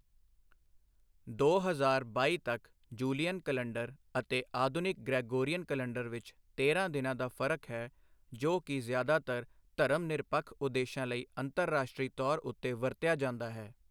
ਦੋ ਹਜ਼ਾਰ ਬਾਈ ਤੱਕ, ਜੂਲੀਅਨ ਕਲੰਡਰ ਅਤੇ ਆਧੁਨਿਕ ਗ੍ਰੈਗੋਰੀਅਨ ਕਲੰਡਰ ਵਿਚ ਤੇਰਾਂ ਦਿਨਾਂ ਦਾ ਫ਼ਰਕ ਹੈ, ਜੋ ਕਿ ਜ਼ਿਆਦਾਤਰ ਧਰਮ ਨਿਰਪੱਖ ਉਦੇਸ਼ਾਂ ਲਈ ਅੰਤਰਰਾਸ਼ਟਰੀ ਤੌਰ ਉੱਤੇ ਵਰਤਿਆ ਜਾਂਦਾ ਹੈ।